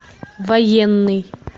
военный